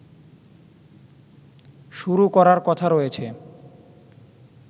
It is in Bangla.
শুরু করার কথা রয়েছে